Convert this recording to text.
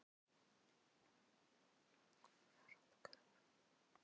Hverjir fara út og hverjir koma inn?